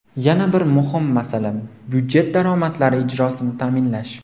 Yana bir muhim masala budjet daromadlari ijrosini ta’minlash.